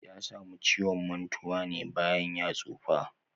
Ya samu ciwon mantuwa ne bayan ya tsufa.